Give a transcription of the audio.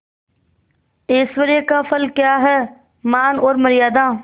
ऐश्वर्य का फल क्या हैमान और मर्यादा